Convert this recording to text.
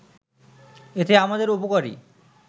এতে আমাদের উপকারই